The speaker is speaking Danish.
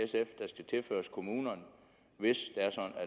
tilføres kommunerne hvis